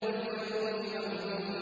وَالْيَوْمِ الْمَوْعُودِ